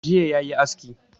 Jiya yayi aski